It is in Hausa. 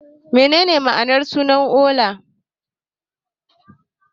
Menene ma'anar suna Ola?